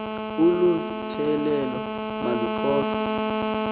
olu tyelelo maluxoxwe